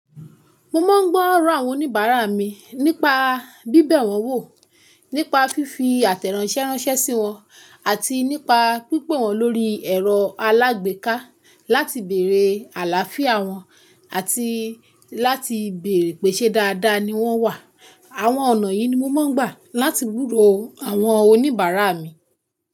Mo máa ń gbọ́ ọ̀rọ̀ àwọn oníbàárà mi nípa bíbẹ̀ wọn wò, nípa fífi àtẹ̀ránsẹ́ ránṣẹ́ sí wọn, àti nípa pípè wọ́n lórí ẹ̀rọ alágbèéká láti bèrè àlááfíà wọn àti láti bèrè pèsè dáadáa ni wọ́n wà. Àwọn ọ̀nà yìí ni mo máa ń gbà láti gbùrò àwọn oníbàárà mi.